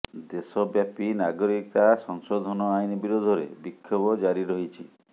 ଦେଶବ୍ୟାପି ନାଗରିକତା ସଂଶୋଧନ ଆଇନ ବିରୋଧରେ ବିକ୍ଷୋଭ ଜାରି ରହିଛି